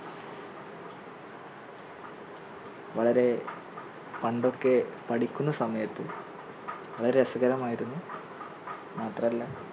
വളരെ പണ്ടൊക്കെ പഠിക്കുന്ന സമയത്ത് വളരെ രസകരമായിരുന്നു മാത്രല്ല